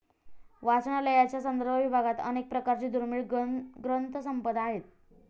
वाचनालयाच्या संदर्भ विभागात अनेक प्रकारची दुर्मिळ ग्रंथसंपदा आहे.